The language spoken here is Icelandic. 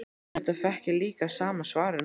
Auðvitað fékk ég líka sama svarið núna.